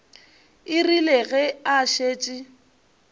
e rile ge a šetše